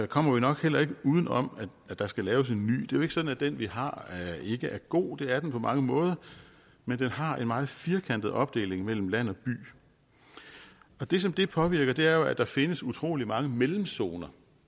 kommer vi nok heller ikke uden om at der skal laves en ny jo ikke sådan at den vi har ikke er god det er den på mange måder men den har en meget firkantet opdeling mellem land og by det som det påvirker er at der findes utrolig mange mellemzoner